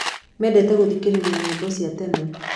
Mendete gũthikĩrĩria nyĩmbo cia tene.